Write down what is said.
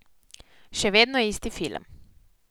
Še vedno isti film.